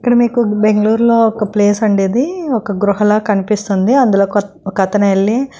ఇక్కడ మీకు బెంగుళూరు లో ఒక ప్లేస్ అండి ఇది. ఒక గుహలా కనిపిస్తుంది. అందులో ఒక్ ఓక్క అతను వెళ్ళి--